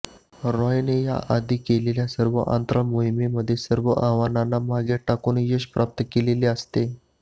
रॉयने याआधी केलेल्या सर्व अंतराळ मोहिमांमध्ये सर्व आव्हानांना मागे टाकून यश प्राप्त केलेलं असते